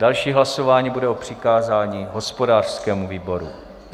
Další hlasování bude o přikázání hospodářskému výboru.